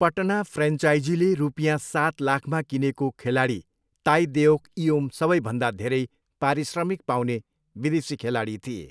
पटना फ्रेन्चाइजीले रुपियाँ सात लाखमा किनेको खेलाडी ताई देओक इओम सबैभन्दा धेरै पारिश्रमिक पाउने विदेशी खेलाडी थिए।